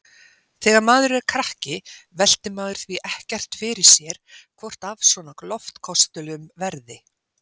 Þegar maður er krakki veltir maður því ekkert fyrir sér hvort af svona loftköstulum verði.